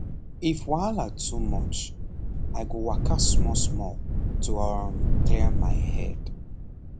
if wahala too much i go waka smallsmall to um clear my head